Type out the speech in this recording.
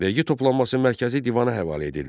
Vergi toplanması mərkəzi divana həvalə edildi.